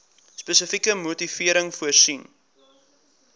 spesifieke motivering voorsien